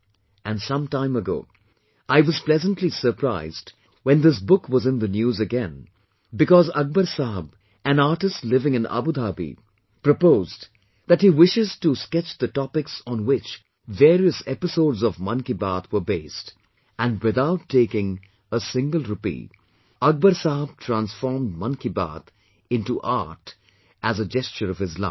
And some time ago, I was pleasantly surprised when this book was in the news again because Akbar Sahab an artist living in Abu Dhabi, proposed that he wishes to sketch the topics on which various episodes of 'Mann Ki Baat' were based, and without taking a single rupee Akbar sahab transformed 'Mann Ki Baat' into art as a gesture of his love